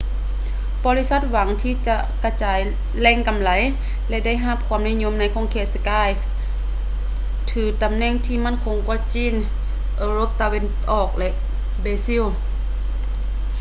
ບໍລິສັດຫວັງທີ່ຈະກະຈາຍແຫຼງກໍາໄລ ແລະ ໄດ້ຮັບຄວາມນິຍົມໃນຂົງເຂດທີ່ skype ຖືຕຳແໜ່ງທີ່ໝັ້ນຄົງເຊັ່ນ ຈີນ ເອີຣົບຕາເວັນອອກ ແລະ ເບຊິລ